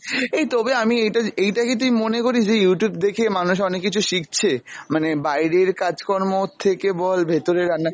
এই তবে আমি এইটা এইটা কী তুই মনে করিস যে Youtube দেখে মানুষ অনেক কিছু শিখছে! মানে বাইরের কাজকর্মের থেকে বল ভেতরের রান্না।